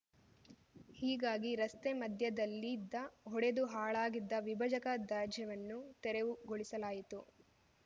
ಹೀಗಾಗಿ ರಸ್ತೆ ಮಧ್ಯದಲ್ಲಿದ್ದಒಡೆದು ಹಾಳಾಗಿದ್ದ ವಿಭಜಕದಾಜ್ಯವನ್ನು ತೆರವುಗೊಳಿಸಲಾಯಿತು